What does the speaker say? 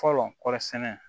Fɔlɔ kɔɔri sɛnɛ